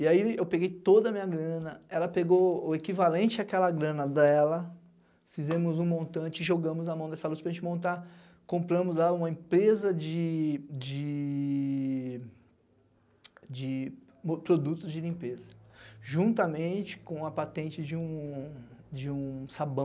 E aí eu peguei toda a minha grana, ela pegou o equivalente àquela grana dela, fizemos um montante, jogamos na mão dessa Lúcia para a gente montar, compramos lá uma empresa de de de produtos de limpeza, juntamente com a patente de um de um sabão.